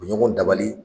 U bɛ ɲɔgɔn dabali